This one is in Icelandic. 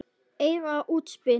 Eitrað útspil.